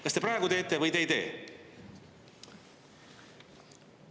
Kas te praegu teete või te ei tee?